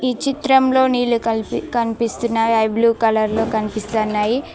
ఈ చిత్రంలో నీళ్ళు కనిపిస్తున్నాయి అవి బ్లూ కలర్ లో కనిపిస్తున్నాయి.